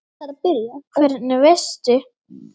Hvernig veistu?